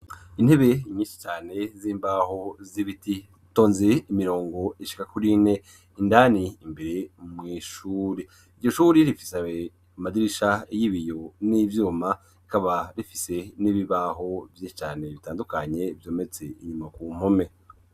Intebe nyinshi cane z'imbaho zibiti, zitonze imirongo ishika kuri ine, indani imbere mw’ishure. Iryo shure rifise amadirisha y'ibiyo n'ivyuma rikaba rifise n'ibibaho vyinshi cane bitandukanye, vyometse inyuma ku mpome.